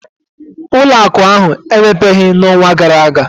ụlọ akụ ahụ emepebeghị n'ọnwa gara aga